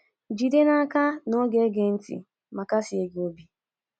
Jide n’aka na ọ ga - ege gị ntị ma kasie gị obi.